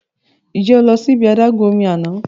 Ṣe o lọ si ibi adagun omi ni ana?